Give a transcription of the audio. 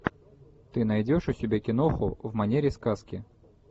ты найдешь у себя киноху в манере сказки